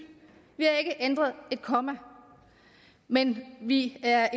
vi ændret et komma men vi er